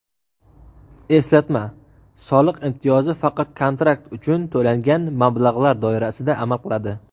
Eslatma: soliq imtiyozi faqat kontrakt uchun to‘langan mablag‘lar doirasida amal qiladi.